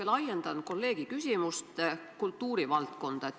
Ma laiendan kolleegi küsimust kultuurivaldkonda.